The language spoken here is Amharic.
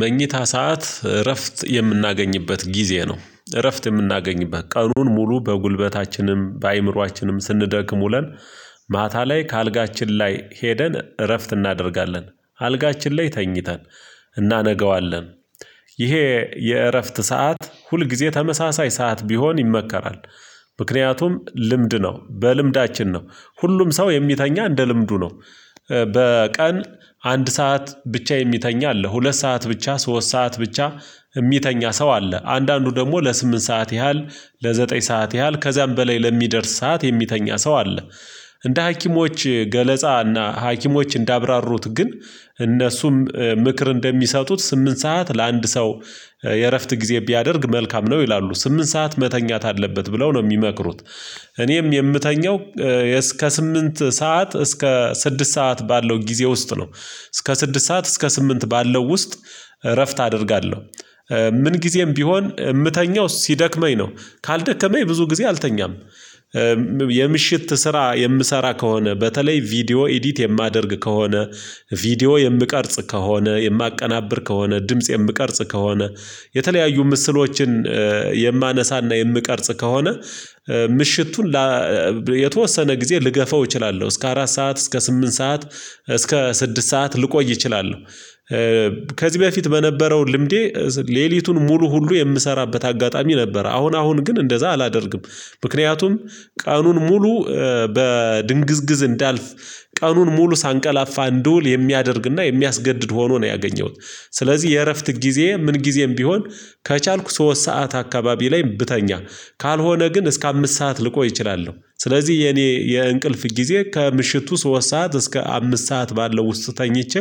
መኝታ ሰዓት እረፍት የምናገኝበት ጊዜ ነው እረፍት የምናገኝበት ቀኑን ሙሉ በጉልበታችንም በአእምሮአችንም ስንደክም ውለን ማታ ላይ ከአልጋችን ላይ ሄደን እረፍት እናደርጋለን። አልጋችን ላይ ተኝተን እናነገዋለን። ይሄ የእረፍት ሰዓት ሁል ጊዜ ተመሳሳይ ሰዓት ቢሆን ይመከራል። ምክንያቱም ልምድ ነው በልምዳችን ነው ሁሉም ሰው የሚተኛ እንደ ልምዱ ነው። በቀን አንድ ሰዓት ብቻ የሚተኛ አለ ሁለት ሰዓት ብቻ ሶስት ሰዓት ብቻ የሚተኛ ሰው አለ። አንዳንዱ ደግሞ ለስምንት ሰዓት ያህል ለዘጠኝ ሰዓት ያህል ከዚያም በላይ ለሚደርስ ሰዓት የሚተኛ ሰው አለ። እንደ ሀኪሞች ገለጻና ሀኪሞች እንዳብራሩት ግን እነሱም ምክር እንደሚሰጡት ስምንት ሰዓት ለአንድ ሰው የእረፍት ጊዜ ቢያደርግ መልካም ነው ይላሉ ስምንት ሰዓት መተኛት አለበት ብለው ነው የሚመክሩት። እኔም የምተኘው እስከ ስምንት ሰዓት እስከ ስድስት ሰዓት ባለው ጊዜ ውስጥ ነው። እስከ ስድስት ሰዓት እስከ ስምንት ባለው ውስጥ እረፍት አደርጋለሁ። ምን ጊዜም ቢሆን የምተኛው ሲደክመኝ ነው። ካልደከመኝ ብዙ ጊዜ አልተኛም። የምሽት ስራ የምሰራ ከሆነ በተለይ ቪዲዮ ኤዲት የማደርግ ከሆነ ቪዲዮ የምቀርጽ ከሆነ የማቀናብር ከሆነ ድምጽ የምቀርጽ ከሆነ የተለያዩ ምስሎችን የማነሳና የምቀርጽ ከሆነ ምሽቱን የተወሰነ ጊዜ ልገፋው እችላለሁ እስከ አራት ሰዓት እስከ ስምንት ሰዓት እስከ ስድስት ሰዓት ልቆይ እችላለሁ። ከዚህ በፊት በነበረው ልምዴ ሌሊቱን ሙሉ ሁሉ የምሰራበት አጋጣሚ ነበር አሁን አሁን ግን እንደዛ አላደርግም። ምክንያቱም ቀኑን ሙሉ በድንግዝግዝ እንዳልፍ ቀኑን ሙሉ ሳንቀላፋ እንድውል የሚያደርግና የሚያስገድድ ሆኖ ነው ያገኘሁት። ስለዚህ የእረፍት ጊዜ ምን ጊዜም ቢሆን ከቻልኩ ሶስት ሰዓት አካባቢ ላይ ብተኛ ካልሆነ ግን እስከ አምስት ሰዓት ልቆይ እችላለሁ ስለዚህ የኔ የእንቅልፍ ጊዜ ከምሽቱ ሶስት ሰዓት እስከ አምስት ሰዓት ባለው ውስጥ ተኝቼ